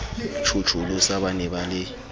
tjhotjholosa ba ne ba le